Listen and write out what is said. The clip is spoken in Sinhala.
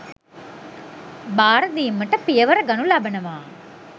බාර දීමට පියවර ගනු ලබනවා